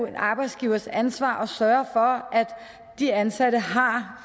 en arbejdsgivers ansvar at sørge for at de ansatte har